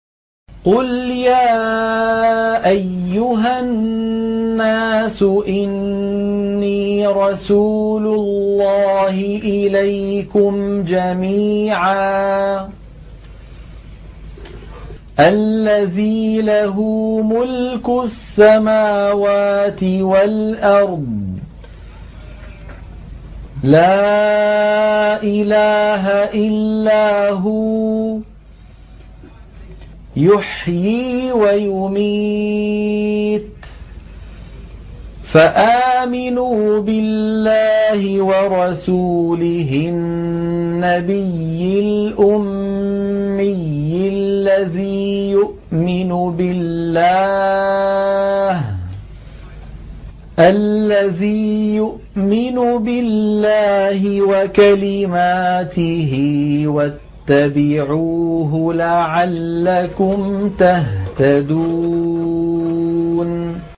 قُلْ يَا أَيُّهَا النَّاسُ إِنِّي رَسُولُ اللَّهِ إِلَيْكُمْ جَمِيعًا الَّذِي لَهُ مُلْكُ السَّمَاوَاتِ وَالْأَرْضِ ۖ لَا إِلَٰهَ إِلَّا هُوَ يُحْيِي وَيُمِيتُ ۖ فَآمِنُوا بِاللَّهِ وَرَسُولِهِ النَّبِيِّ الْأُمِّيِّ الَّذِي يُؤْمِنُ بِاللَّهِ وَكَلِمَاتِهِ وَاتَّبِعُوهُ لَعَلَّكُمْ تَهْتَدُونَ